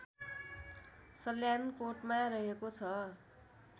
सल्यानकोटमा रहेको छ